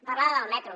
parlava del metro